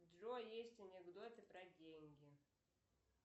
джой есть анекдоты про деньги